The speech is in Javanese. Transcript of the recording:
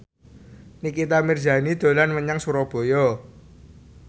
Nikita Mirzani dolan menyang Surabaya